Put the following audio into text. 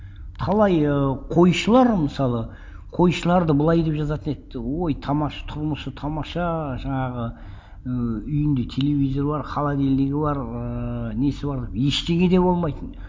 талай ыыы қойшылар мысалы қойшыларды былай деп жазатын еді ой тұрмысы тамаша жаңағы ыыы үйінде телевизор бар холодильнигі бар ыыы несі бар ештеңе де болмайтын